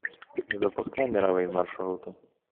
запускай мировые маршруты